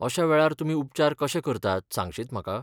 अश्या वेळार तुमी उपचार कशे करतात सांगशीत म्हाका?